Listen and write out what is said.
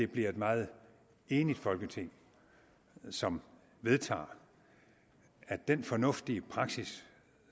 bliver et meget enigt folketing som vedtager at den fornuftige praksis